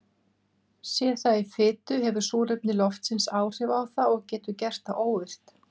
Sé það í fitu hefur súrefni loftsins áhrif á það og getur gert það óvirkt.